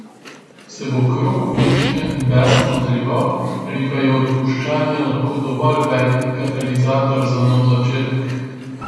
Se bo krog uničenja in besa nadaljeval, ali pa je odpuščanje lahko dovolj velik katalizator za nov začetek?